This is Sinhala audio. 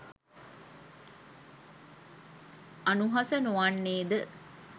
අනුහස නොවන්නේ ද?